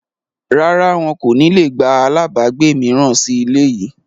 Rárá, wọn kò ní le gba àlábagbé mìíràn sì ilé yìí